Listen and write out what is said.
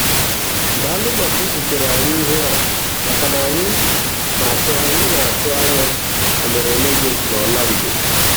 Daalụ maka izitere anyị ihe a makana anyị na-atụ anyị na-atụ anya emereme gị n'Orlando!